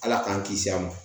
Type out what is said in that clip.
Ala k'an kisi a ma